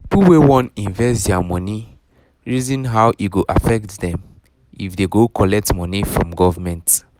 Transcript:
people wey wan invest their um money reason how e go affect them um if they go collect money from government